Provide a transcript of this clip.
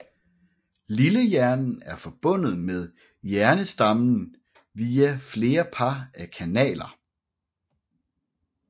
Lillehjernen er forbundet med hjernestammen via flere par af kanaler